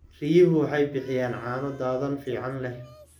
Riyuhu waxay bixiyaan caano dhadhan fiican leh.